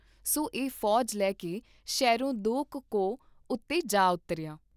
ਸੋ ਇਹ ਫੌਜ ਲੈਕੇ ਸ਼ਹਿਰੋਂ ਦੋ ਕੁ ਕੋਹ ਉਤੇ ਜਾ ਉਤਰਿਆ।